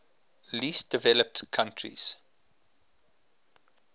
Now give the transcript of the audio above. least developed countries